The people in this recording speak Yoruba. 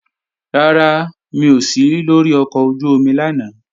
Rárá, mi ò sí lóri ọkọ̀ ojú-omi lánàá